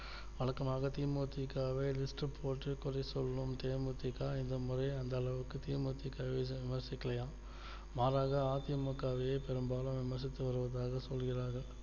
வழக்கமாக தி மு தி க வே list போட்டு பழி சொல்லும் தே மு தி க இந்த முறை அந்த அளவிற்கு தி மு தி க வை விமர்சிக்கலையா மாறாக அ தி மு க வே பெரும்பாலான மதிப்பு வருவதாக சொல்கிறார்கள்